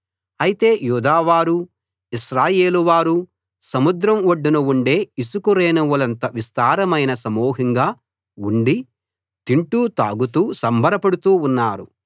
అయితే యూదావారూ ఇశ్రాయేలు వారూ సముద్రం ఒడ్డున ఉండే ఇసుక రేణువులంత విస్తారమైన సమూహంగా ఉండి తింటూ తాగుతూ సంబరపడుతూ ఉన్నారు